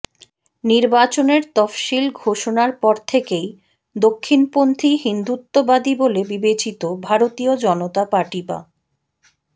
নির্বাচনের তফসিল ঘোষণার পর থেকেই দক্ষিণপন্থী হিন্দুত্ববাদী বলে বিবেচিত ভারতীয় জনতাঁ পার্টি বা